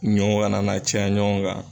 Ɲɔw kana na caya ɲɔgɔn kan